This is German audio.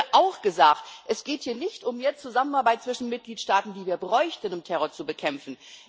Es wurde auch gesagt Es geht hier nicht um mehr Zusammenarbeit zwischen Mitgliedstaaten, die wir bräuchten, um Terror zu bekämpfen.